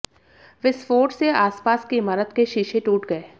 विस्फोट से आसपास की इमारत के शीशे टूट गए